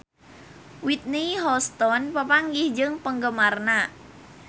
Whitney Houston papanggih jeung penggemarna